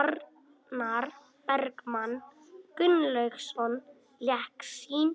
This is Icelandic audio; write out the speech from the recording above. Arnar Bergmann Gunnlaugsson lék sinn